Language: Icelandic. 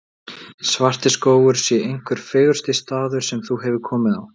Svartiskógur sé einhver fegursti staður sem þú hefur komið á.